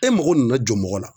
E mago nana jɔ mɔgɔ la